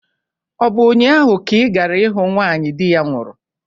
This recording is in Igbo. Ọ bụ ụnyaahụ ka ị gara ịhụ nwanyị di ya nwụrụ?